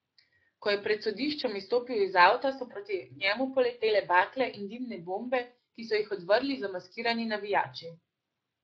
Ko je pred sodiščem izstopil iz avta, so proti njemu poletele bakle in dimne bombe, ki so jih odvrgli zamaskirani navijači.